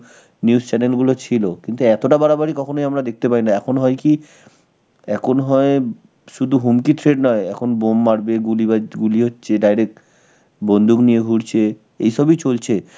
news channel গুলো ছিল. কিন্তু এতটা বাড়াবাড়ি কখনোই আমরা দেখতে পাইনি. এখন হয় কি, এখন হয় শুধু হুমকির threat নয়, এখন bomb মারবে, গুলি বা~, গুলি হচ্ছে direct, বন্দুক নিয়ে ঘুরছে এইসবই চলছে.